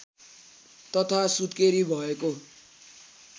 तथा सुत्केरी भएको